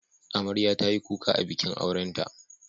Amarya ta yi kuka a bikin aurenta.